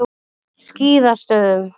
Skíðastöðum